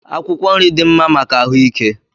Akwụkwọ nri dị mma maka ahụike